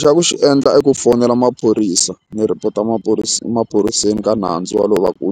Xa ku xi endla i ku fonela maphorisa ni report-a emaphoriseni ka nandzu walowo wa ku wu